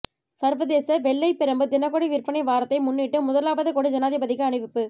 சர்வதேச வெள்ளைப் பிரம்பு தினகொடி விற்பனை வாரத்தை முன்னிட்டு முதலாவது கொடி ஜனாதிபதிக்கு அணிவிப்பு